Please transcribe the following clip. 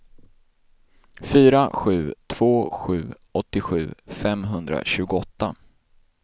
fyra sju två sju åttiosju femhundratjugoåtta